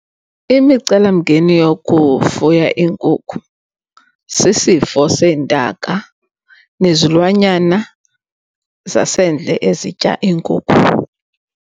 Imicelamngeni yokufuya iinkukhu sisifo seentaka nezilwanyana zasendle ezitya iinkukhu.